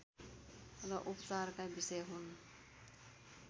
र उपचारका विषय हुन्